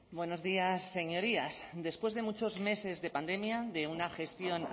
buenos días señorías después de muchos meses de pandemia de una gestión